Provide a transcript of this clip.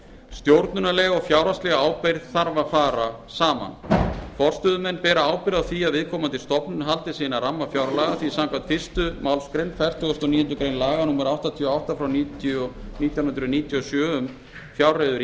stjórnunarleg og fjárhagsleg ábyrgð þarf að fara saman forstöðumenn bera ábyrgð á því að viðkomandi stofnun haldi sig innan ramma fjárlaga því samkvæmt fyrstu málsgrein fertugustu og níundu grein laga númer áttatíu og átta nítján hundruð níutíu og sjö um fjárreiður